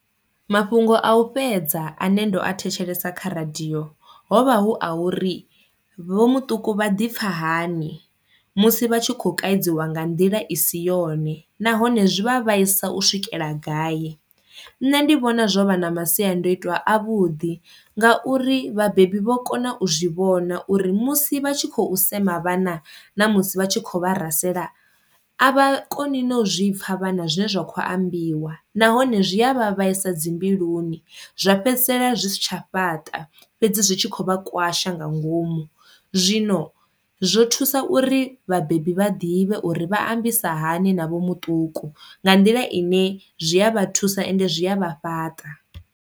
Mafhungo a u fhedza ane ndo a thetshelesa kha radio hovha hu a uri vho muṱuku vha ḓi pfha hani musi vha tshi kho kavhiwa nga nḓila i si yone nahone zwi vha vhaisa u swikela gai. Nṋe ndi vhona zwo vha na masiandoitwa a vhuḓi nga uri vhabebi vho kona u zwi vhona uri musi vha tshi khou sema vhana na musi vha tshi kho vha rasela a vha koni na u zwi pfha vhana zwe zwa kho ambiwa, nahone zwi a vha vhaisa dzi mbiluni zwa fhedzisela zwi si tsha fhaṱa fhedzi zwi tshi khou vha kwasha nga ngomu, zwino zwo thusa uri vhabebi vha ḓivhe uri vha ambisa hani na vho muṱuku nga nḓila ine zwi a vha thusa ende zwi a vha fhaṱa.